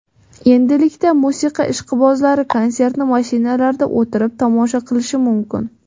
Endilikda musiqa ishqibozlari konsertni mashinalarida o‘tirib tomosha qilishi mumkin.